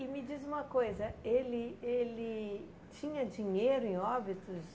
E me diz uma coisa, ele ele tinha dinheiro em Óbidos?